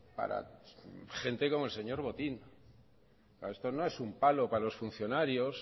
para gente como el señor botín esto no es un palo para los funcionarios